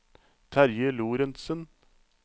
Terje Lorentsen